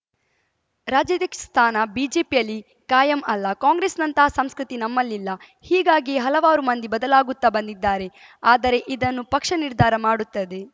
ರಾಜ್ಯಾಧ್ಯಕ್ಷ ಸ್ಥಾನ ಬಿಜೆಪಿಯಲ್ಲಿ ಕಾಯಂ ಅಲ್ಲ ಕಾಂಗ್ರೆಸ್‌ನಂತಹ ಸಂಸ್ಕೃತಿ ನಮ್ಮಲ್ಲಿಲ್ಲ ಇಲ್ಲ ಹೀಗಾಗಿಯೇ ಹಲವಾರು ಮಂದಿ ಬದಲಾಗುತ್ತಾ ಬಂದಿದ್ದಾರೆ ಆದರೆ ಇದನ್ನು ಪಕ್ಷ ನಿರ್ಧಾರ ಮಾಡುತ್ತದೆ